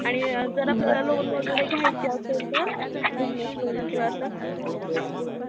आणि जर आपल्याला loan वैगरे घ्यायचं असेल तर, business loan किंवा असं